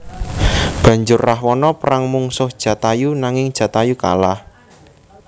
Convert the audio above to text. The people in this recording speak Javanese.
Banjur Rahwana perang mungsuh Jatayu nanging Jatayu kalah